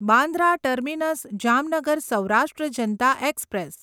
Bandra terminus Jamnagar Saurashtra Janata express